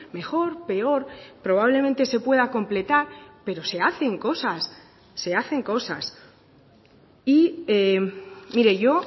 mejor peor probablemente se pueda completar pero se hacen cosas se hacen cosas y mire yo